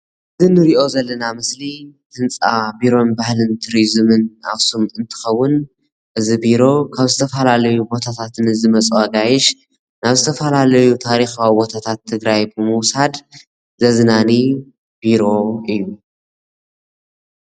እዚ እንሪኦ ዘለና ምስሊ ህንፃ ባህልን ቱሪዚምን ኣክሱም እንትከውን እዚ ቢሮ ካብ ዝተፈላለዩ ቦታታት ንዝመፁ ኣጋይሽ ናብ ዝተፈላለዩ ታሪካዊ ቦታታት ትግራይ ብምውሳድ ዘዝናኒ ቢሮ እዩ፡፡